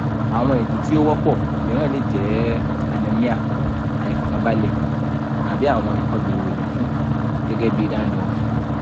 awọn idi ti o wọpọ miiran le jẹ anemia aifọkanbalẹ tabi awọn ikolu eefin gẹgẹ bi dandruff